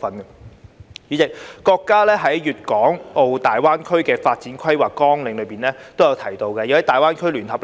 代理主席，國家在《粵港澳大灣區發展規劃綱要》提出，要在大灣區聯合